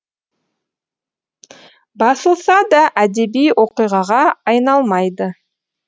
басылса да әдеби оқиғаға айналмайды